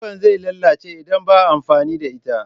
Kilifan zai lalace idan baa amfani da ita